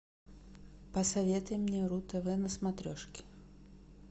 посоветуй мне ру тв на смотрешке